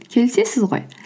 келісесіз ғой